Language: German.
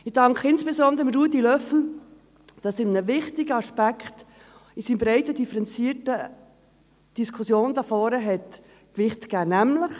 Ich danke insbesondere Ruedi Löffel, dass er einem wichtigen Aspekt in dieser breiten und differenzierten Diskussion Gewicht verleiht.